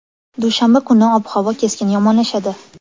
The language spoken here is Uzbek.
Dushanba kuni kuni ob-havo keskin yomonlashadi.